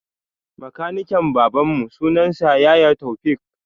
Makaniken baban mu sunan sa yaya Toufik